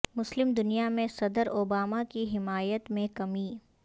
مسلم دنیا میں صدر اوباما کی حمایت میں کمی